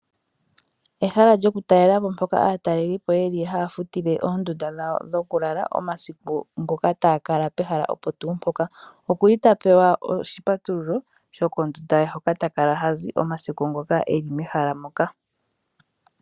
Ehala lyo kutalelapo mpoka aatalelipo yeli hafutile oondunda dhawo dhokulala omasiku ngoka takala pehala opoka tuu mpoka okuli ta pewa oshipatululo shokondunda ye hoka takala hazi omasiku ngoka eli mehala moka.